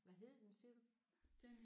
Hvad hed den siger du?